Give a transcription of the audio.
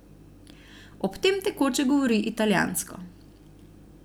Ob tem tekoče govori italijansko.